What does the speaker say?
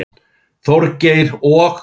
Þorgeir og